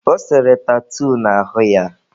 Ọ sere tatuu n'ahụ ya..